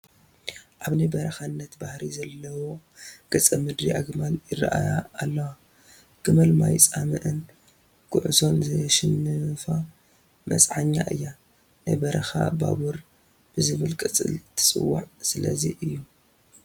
ኣብ ናይ በረኻነት ባህሪ ዘለዎ ገፀ ምድሪ ኣግማል ይርአያ ኣለዋ፡፡ ግመል ማይ ፃምእን ጉዕዞን ዘየሽንፋ መፅዓኛ እያ፡፡ ናይ በረኻ ባቡር ብዝብል ቅፅል ትፅዋዕ ስለዚ እዩ፡፡